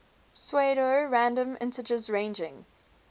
pseudo random integers ranging